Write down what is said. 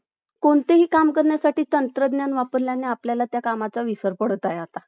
कोणतेही काम करण्यासाठी तंत्रज्ञान वापरल्याने आपल्याला त्या कामाचा विसर पडत आहे आता